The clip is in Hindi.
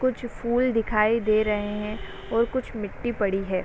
कुछ फूल दिखाई दे रहे हैं और कुछ मिट्टी पड़ी है।